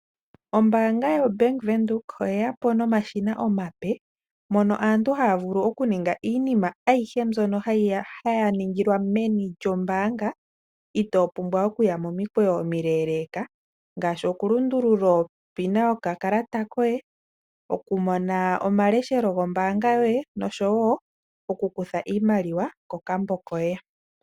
Ombaanga yoBank Windhoek oye ya po nomashina omape mpono aantu haya vulu okuninga iinima ayihe mbyono haya ningilwa meni lyombaanga itoo pumbwa okuya momikweyo omileeleeka ngaashi okulundulula onomola yoye yokakalata kombaanga yomeholamo, okumona omushangwa gombaanga yoye noshowo okunana ko iimaliwa kokambo koye.